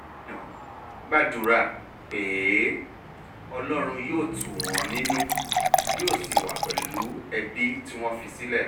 gomina gbàdúrà pé ọlọ́run yóò tù wọ́n nínú yóò sì wà pẹ̀lú ẹbí tí wọ́n fi sílẹ̀